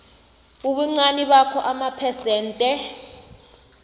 ubuncani bakhona amaphesente